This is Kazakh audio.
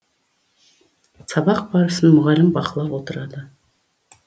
сабақ барысын мұғалім бақылап отырады